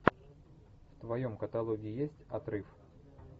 в твоем каталоге есть отрыв